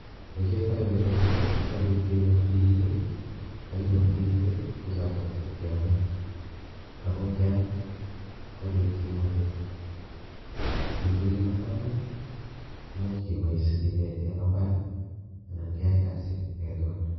Ole kiyoitoi boishoni ko kibole ibkenyor tigitiik I,ak yon kakenyoor tigiitik ko choton chekiome amun ngeam kobiit kimnotet. Kobiitu kimnotoni, koimuch keboois kebaa imbar anan keyai kasit